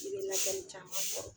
I be lakɛli caman kɔrɔ